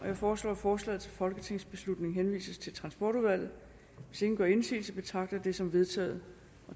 jeg foreslår at forslaget til folketingsbeslutning henvises til transportudvalget hvis ingen gør indsigelse betragter jeg det som vedtaget